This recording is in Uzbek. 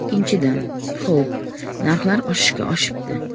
Ikkinchidan , xo‘p, narxlar oshishga oshibdi.